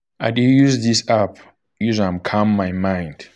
i dey use dis app use am calm um my mind.